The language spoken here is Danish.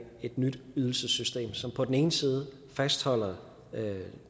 et nyt ydelsessystem som på den ene side fastholder